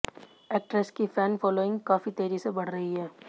actress की fan following काफी तेजी से बढ़ रही है